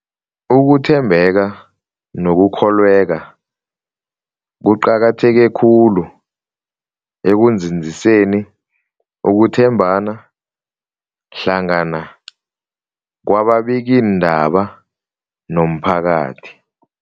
Ukuthembeka nokukholweka kuqakatheke khulu ekunzinziseni ukuthembana hlangana kwababikiindaba nomphakathi.